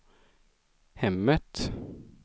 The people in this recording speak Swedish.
hemmet